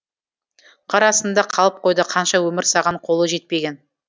қар астында қалып қойды қанша өмір саған қолы жетпеген